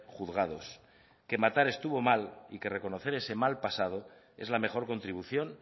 juzgados que matar estuvo mal y que reconocer ese mal pasado es la mejor contribución